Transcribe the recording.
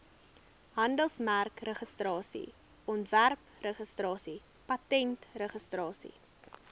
handelsmerkregistrasie ontwerpregistrasie patentregistrasie